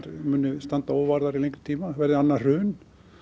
standi óvarðar í langan tíma verði annað hrun